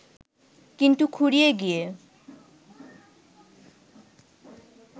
কিন্তু খুঁড়িয়ে গিয়ে